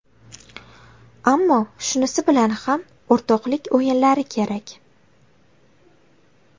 Ammo shunisi bilan ham o‘rtoqlik o‘yinlari kerak.